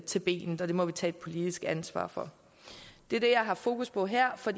til benet og det må vi tage et politisk ansvar for det er det jeg har fokus på her for